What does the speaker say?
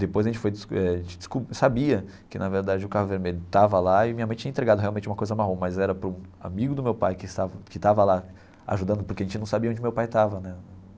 Depois a gente foi eh sabia que, na verdade, o carro vermelho estava lá e minha mãe tinha entregado realmente uma coisa marrom, mas era para um amigo do meu pai que estava que estava lá ajudando, porque a gente não sabia onde meu pai estava né.